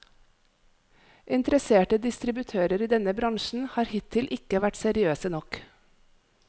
Interesserte distributører i denne bransjen har hittil ikke vært seriøse nok.